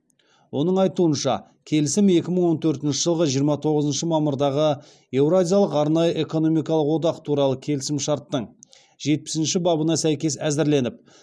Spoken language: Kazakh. оның айтуынша келісім екі мың он төртінші жылғы жиырма тоғызыншы мамырдағы еуразиялық арнайы экономикалық одақ туралы келісімшарттың жетпісінші бабына сәйкес әзірленіп